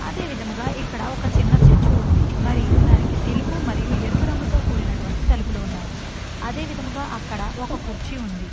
అదేవిధంగా ఇక్కడ ఒక చిన్న చర్చి ఉంది మరియు దానికి తెలుపు మరియు ఎరుపు రంగుతో కూడినటువంటి తలుపులు ఉన్నాయి అదే విధంగా అక్కడ ఒక కుర్చీ ఉంది.